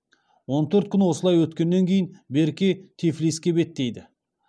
он төрт күн осылай өткеннен кейін берке тифлиске беттейді